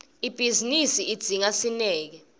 ibhizinisi idzinga sineke